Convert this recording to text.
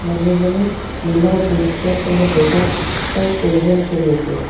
মানুহজনে নীলা jeans pant আৰু বগা চাৰ্ট পৰিধান কৰি আছে।